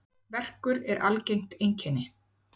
Verkur er algengt einkenni.